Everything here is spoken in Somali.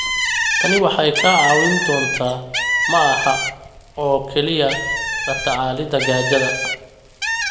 Tani waxay kaa caawin doontaa ma aha oo kaliya la tacaalida gaajada.